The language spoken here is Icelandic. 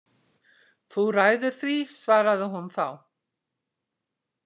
Þú ræður því, svaraði hún þá.